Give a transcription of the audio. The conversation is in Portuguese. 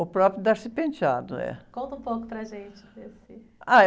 O próprio, é.onta um pouco para a gente, desse...